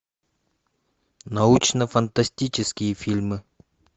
научно фантастические фильмы